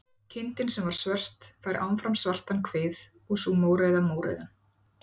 Kindin sem var svört fær áfram svartan kvið og sú mórauða mórauðan.